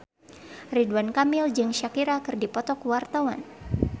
Ridwan Kamil jeung Shakira keur dipoto ku wartawan